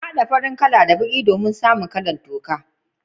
Na hada baki da farin kala domin samu kala'n toka.